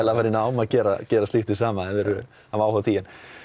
að fara í nám að gera að gera slíkt hið sama ef þeir hafa áhuga á því